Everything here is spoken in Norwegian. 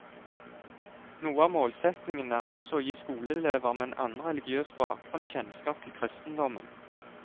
Noe av målsetningen er også å gi skoleelever med en annen religiøs bakgrunn kjennskap til kristendommen.